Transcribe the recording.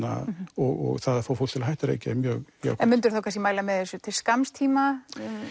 og það að fá fólk til að hætta að reykja er mjög jákvætt myndir þú þá kannski mæla með þessu til skamms tíma